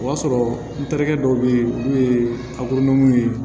O y'a sɔrɔ n terikɛ dɔw bɛ yen n'o ye ye